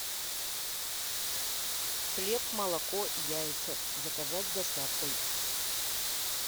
хлеб молоко яйца заказать с доставкой